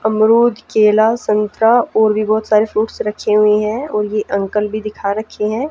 अमरूद केला संतरा और भी बहुत सारे फ्रूट्स रखे हुए हैं और ये अंकल भी दिखा रखे हैं।